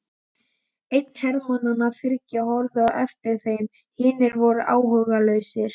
Einn hermannanna þriggja horfði á eftir þeim, hinir voru áhugalausir.